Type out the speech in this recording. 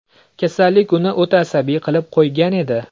Kasallik uni o‘ta asabiy qilib qo‘ygan edi.